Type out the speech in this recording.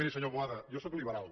miri senyor boada jo sóc liberal